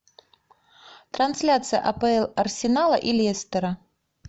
трансляция апл арсенала и лестера